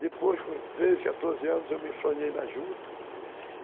Depois, com treze, quatorze anos, eu me enfronhei na juta.